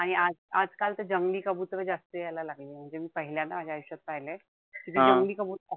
आणि आज आजकाल तर जंगली कबुतर जास्त यायला लागलेय. म्हणजे पहिल्यांदा माझ्या आयुष्यात पाहिलेय. जंगली कबुतर,